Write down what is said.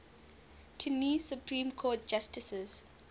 tennessee supreme court justices